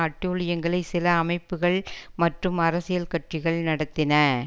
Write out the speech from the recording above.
அட்டூழியங்களை சில அமைப்புகள் மற்றும் அரசியல் கட்சிகள் நடத்தின